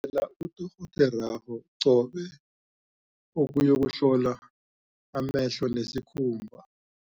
ela udorhoderakho qobe ukuyokuhlolwa amehlo nesikhumba.